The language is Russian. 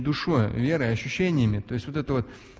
душой верой ощущениями то есть вот это вот